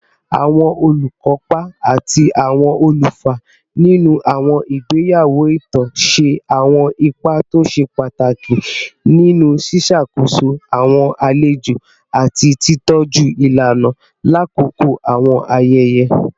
Awọn olukopa ati awọn olufa ninu awọn igbeyawo itan ṣe awọn ipa to ṣe pataki ni ṣiṣakoso awọn alejo ati titọju ilana lakoko awọn ayẹyẹ